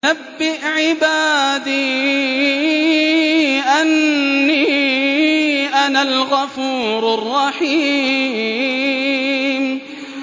۞ نَبِّئْ عِبَادِي أَنِّي أَنَا الْغَفُورُ الرَّحِيمُ